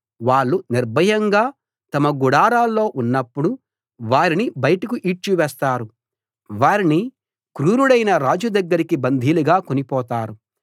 వాళ్ళు నిర్భయంగా తమ గుడారాల్లో ఉన్నప్పుడు వారిని బయటకు ఈడ్చివేస్తారు వారిని క్రూరుడైన రాజు దగ్గరికి బందీలుగా కొనిపోతారు